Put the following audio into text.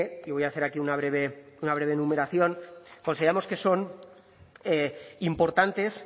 que y voy a hacer aquí una breve enumeración consideramos que son importantes